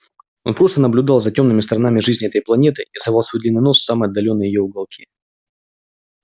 он просто наблюдал за тёмными сторонами жизни этой планеты и совал свой длинный нос в самые отдалённые её уголки